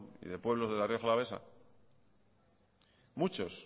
y de pueblos de la rioja alavesa muchos